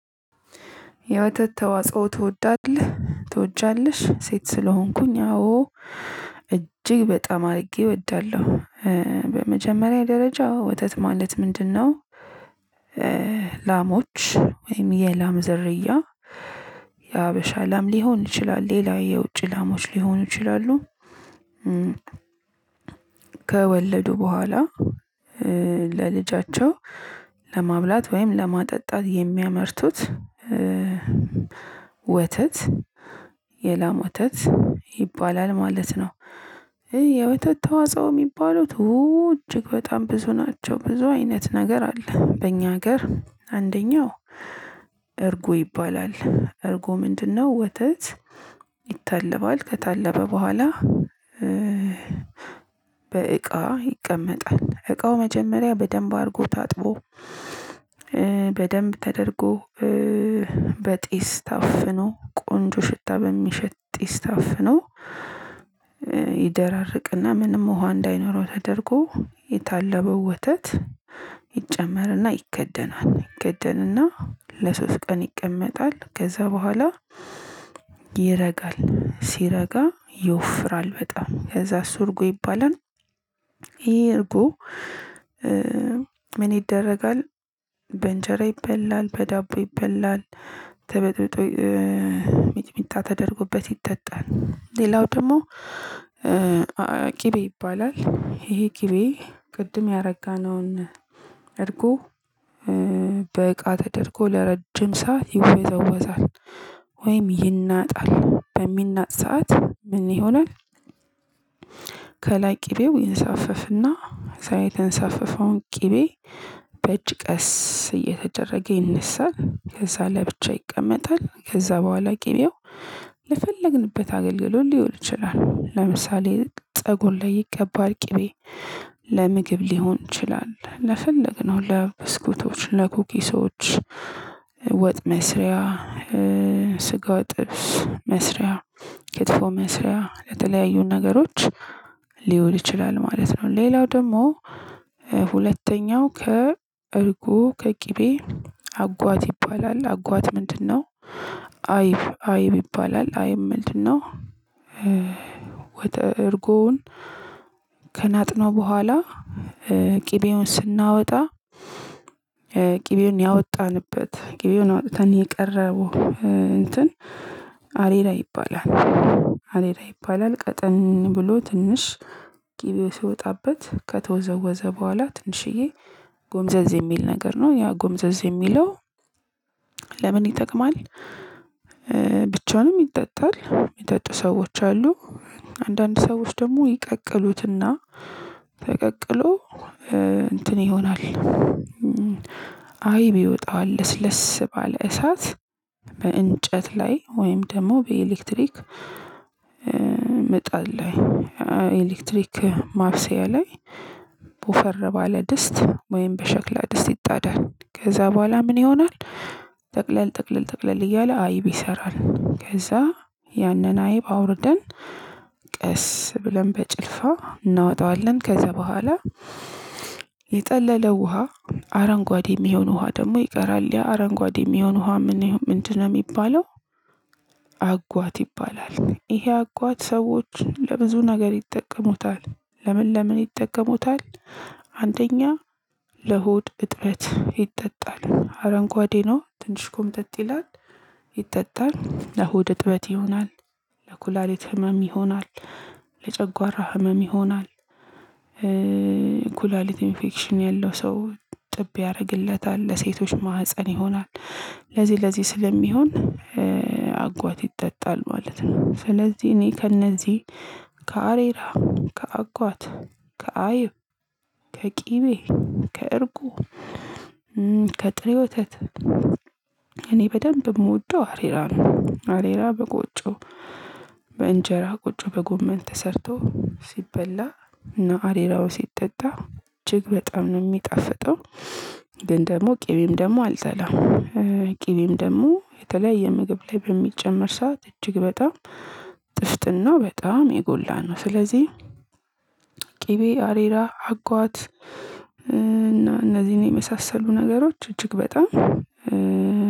የወተት ተዋጽኦ ትወዳለህ? ትወጃለሽ? ሴት ስለሆንኩኝ አዎ እጅግ በጣም አድርጌ እወዳለሁ። በመጀመሪያ ደረጃ ወተት ማለት ምንድን ነው? ላሞች ወይም የላም ዝርያ የሀበሻ ላም ሊሆን ይችላል። ሌላ የውጭ ላሞች ሊሆኑ ይችላሉ ከወለዱ በኋላ ለልጃቸው ለማብላት ወይም ለማጠጣት የሚያመርቱት ወተት የላም ወተት ይባላል ማለት ነው። የወተት ተዋጽኦ የሚባሉት እጅግ በጣም ብዙ ናቸው። ብዙ አይነት ነገር አለ። በእኛ ሀገር አንደኛው እርጎ ይባላል። እርጎ ምንድን ነው? ወተት ይታለባል። ከታለበ በኋላ በእቃ ይቀመጣል። እቃው መጀመሪያ በደንብ አድርጎ ታጥቦ በደንብ ተደርጎ በጢስ ታፍኖ ቆንጆ ሽታ በሚሸት ጢስ ታፍኖ ይደራርቅና ምንም ውሃ እንዳይኖረው ተደርጎ የታለበው ወተት ይጨመርና ይከደናል። ይከደንና ለሶስት ቀን ይቀመጣል። ከዛ በኋላ ይረጋል። ሲረጋ ይወፍራል በጣም ከዛ አሱ እርጎ ይባላል። ይሄ እርጎ ምን ይደረጋል? በእንጀራ ይበላል። በዳቦ ይበላል። ተበጥብጦ ሚጥሚጣ ተደርጎበት ይጠጣል። ሌላው ደግሞ ቅቤ ይባላል። ይሄ ቅቤ ቅድም ያረጋነውን እርጎ ተደርጎ ለረጅም ሰዓት ይወዘወዛል። ወይም ይናጣል። በሚናጥ ሰዓት ምን ይሆናል? ከላይ ቅቤው ይንሳፈፍና ከዛ የተንሳፈፈውን ቅቤ በእጅ ቀስ እየተደረገ ይነሳል። ከዛ ለብቻ ይቀመጣል። ከዛ በኋላ ቅቤው ለፈለግንበት አገልግሎት ሊሆን ይችላል። ለምሳሌ ፀጉር ላይ ይቀባል። ቅቤ ለምግብ ሊሆን ይችላል። ለፈለግነው ለብስኩቶች፣ ለኩኪሶች ወጥ መስሪያ፣ ስጋ ጥብስ መስሪያ፣ ክትፎ መስሪያ፣ ለተለያዩ ነገሮች ሊወል ይችላል ማለት ነው። ሌላው ደግሞ ሁለተኛው ከእርጎ ከቅቤ አጓት ይባላል። አጓት ምንድን ነው? አይብ አይብ ይባላል። አይብ ምንድን ነው? እርጎውን ከናጥነው በኋላ ቅቤውን ስናወጣ ቅቤውን ያወጣንበት ቅቤውን አውጥተን የቀረው እንትን አሬራ ይባላል። አሬራ ይባላል። ቀጠን ብሎ ትንሽ ቅቤው ሲወጣበት ከተወዘወዘ በኋላ ትንሽዬ ጎምዘዝ የሚል ነገር ነው። ያ ጎምዘዝ የሚለው ለምን ይጠቅማል? ብቻውንም ይጠጣል። የሚጠጡ ሰዎች አሉ። አንዳንድ ሰዎች ደግሞ ይቀቅሉትና ተቀቅሎ እንትን ይሆናል። አይብ ይወጣዋል። ለስለስ ባለ እሳት በእንጨት ላይ ወይም ደግሞ በኤሌክትሪክ ይቀመጣል። ኤሌክትሪክ ማብሰያ ላይ ወፈር ባለ ድስት ወይም በሸክላ ድስት ይጣዳል። ከዛ በኋላ ምን ይሆናል? ጠቅለል ጠቅለል ጠቅለል እያለ አይብ ይሰራል። ከዛ ያንን አይብ አውርደን ቀስ ብለን በጭልፋ እናወጣዋለን። ከዛ በኋላ የጠለለው ውሃ አረንጓዴ የሚሆን ውሃ ደግሞ ይቀራል። ያ አረንጓዴ የሚሆን ውሃ ምንድን ነው? የሚባለው አጓት ይባላል። ይሄ አጓት ሰዎች ለብዙ ነገር ይጠቀሙታል። ለምን ለምን ይጠቀሙታል? አንደኛ ለሆድ እጥበት ይጠጣል። አረንጓዴ ነው ትንሽ ኮምጠጥ ይላል። ይጠጣል። ለሆድ እጥበት ይሆናል። ለኩላሊት ህመም ይሆናል። ለጨጓራ ህመም ይሆናል። ኩላሊት ኢንፌክሽን ያለው ሰው እጥብ ያደርግለታል። ለሴቶች ማህፀን ይሆናል። ለዚህ ለዚህ ስለሚሆን አጓት ይጠጣል ማለት ነው። ስለዚህ እኔ ከእነዚህ ከአሬራ፣ ከአጓት፣ ከአይብ፣ ከቅቤ፣ ከእርጎ ከጥሬ ወተት፣ እኔ በደንብ የምወደው አሬራ ነው። አሬራ በቆጮ በእንጀራ ቆጮ በጎመን ተሰርቶ ሲበላ እና አሬራው ሲጠጣ እጅግ በጣም ነው የሚጣፍጠው። ግን ደግሞ ቅቤም ደግሞ አልጠላም። ቅቤም ደግሞ የተለያየ ምግብ ላይ በሚጨመር ሰዓት እጅግ በጣም ጥፍጥናው በጣም የጎላ ነው። ስለዚህ ቅቤ፣ አሬራ፣ አጓት፣ እና እነዚህን የመሳሰሉ ነገሮች እጅግ በጣም